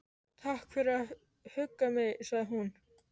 Takk fyrir að hugga mig sagði hún.